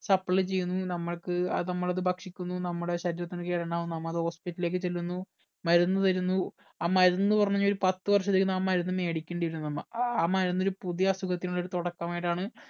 supply ചെയ്യുന്നു നമ്മൾക്ക് അത് നമ്മൾ അത് ഭക്ഷിക്കുന്നു നമ്മുടെ ശരീരത്തിന് കേടുണ്ടാകുന്നു നമ്മ അത് hospital ലേക്ക് ചെല്ലുന്നു മരുന്ന് തരുന്നു ആ മരുന്നെന്ന് പറഞ്ഞ ഒരു പത്ത് വർഷത്തേക്ക് ആ മരുന്ന് മേടിക്കേണ്ടി വരും നമ്മ ആ മരുന്ന് ഒരു പുതിയ അസുഖത്തിനുള്ള തുടക്കമായിട്ടാണ്